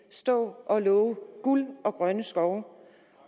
stå og love guld og grønne skove